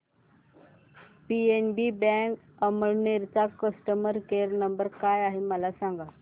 PNB bank Amalner चा customer care number काय आहे मला सांगा